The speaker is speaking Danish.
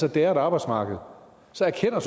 at det er et arbejdsmarked så erkender